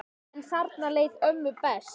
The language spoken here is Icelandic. En þarna leið ömmu best.